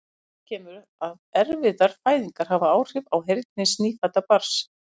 Fyrir kemur að erfiðar fæðingar hafa áhrif á heyrn hins nýfædda barns.